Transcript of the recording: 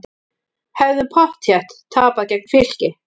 Hefðum pottþétt tapað gegn Fylki